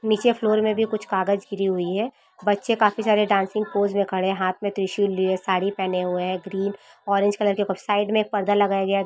नीचे फ्लोर मे भी कुछ कागच गिरी हुई है बच्चे काफी सारे डांसिंग पोज़ में खड़े है हाथ में त्रिशूल लिए साड़ी पहने हुए है ग्रीन ऑरेंज कलर के पास साइड में पर्दा लगया गया है।